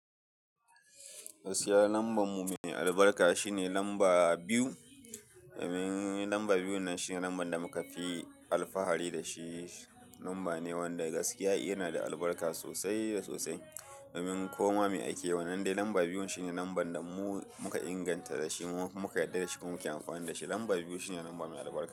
Gaskiya lambar mu mai albarka shine lamba biyu. Domin lamba biyun nan shine lambar da muka fi alfahari da shi. Lamba ne wanda gaskiya yana da albarka sosai da sosai. Domin koma me ake yi, wannan dai lamba biyun shine lambar da mu muka inganta da shi, muka yarda da shi kuma muka amfana da shi. Lamba biyu shine lamba mai albarka.